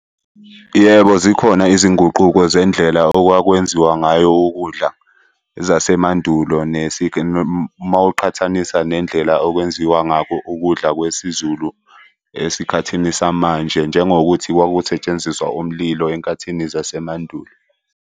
Yebo, zikhona izinguquko zendlela okwakwenziwa ngayo ukudla zasemandulo mawuqhathanisa nendlela okwenziwa ngakho ukudla kwesiZulu esikhathini samanje, njengokuthi kwakusetshenziswa umlilo enkathini zasemandulo.